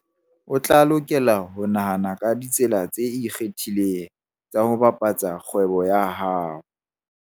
O tla lokela ho nahana ka ditsela tse ikgethileng tsa ho bapatsa kgwebo ya hao.